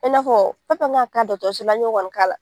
I n'a fɔ fɛn fɛn kan k'a la an y'o kaɔni k'a la.